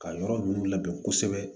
Ka yɔrɔ ninnu labɛn kosɛbɛ